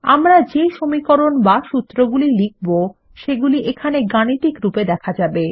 আমরা যে সমীকরণ বা সূত্রগুলি লিখব সেগুলি এখানে গাণিতিক রূপে দেখা যাবে